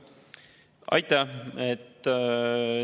Aitäh!